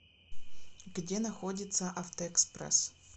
где находится автоэкспресс